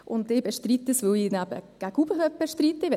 Ich bestreite es, weil ich ihn eben gegen oben bestreite möchte.